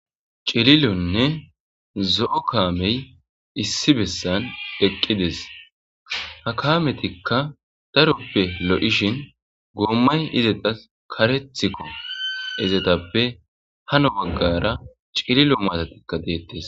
Cililonne zo'o kaamey issi bessan eqqides ha kaametikka daroppe lo'ishin goommay izeta karethikko izetappe hano baggara cililo maatatikka deettes.